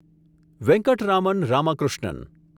Venkataraman Ramakrishnan